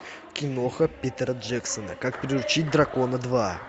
киноха питера джексона как приручить дракона два